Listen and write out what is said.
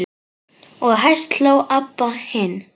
Og hæst hló Abba hin.